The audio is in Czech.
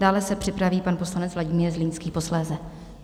Dále se připraví pan poslanec Vladimír Zlínský posléze.